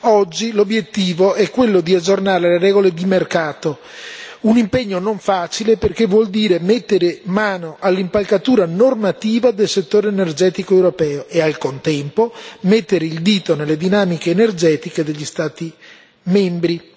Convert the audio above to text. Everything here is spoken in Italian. Oggi l'obiettivo è quello di aggiornare le regole di mercato un impegno non facile perché vuol dire mettere mano all'impalcatura normativa del settore energetico europeo e al contempo mettere il dito nelle dinamiche energetiche degli Stati membri.